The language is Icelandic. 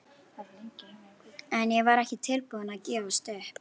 En ég var ekki tilbúin að gefast upp.